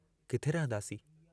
किथे रहंदासीं?